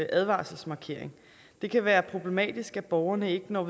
advarselsmarkering det kan være problematisk at borgerne ikke når